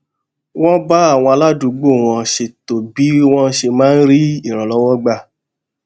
wón bá àwọn aládùúgbò wọn ṣètò bí wón ṣe máa rí ìrànlówó gbà